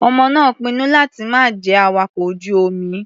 Ọmọ náà pinnu láti má jẹ́ awakọ̀ ojú-omi.